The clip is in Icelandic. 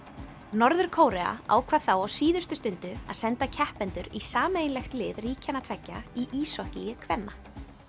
norður Kórea ákvað þá á síðustu stundu að senda keppendur í sameiginlegt lið ríkjanna tveggja í íshokkíi kvenna